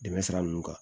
Dɛmɛ sira ninnu kan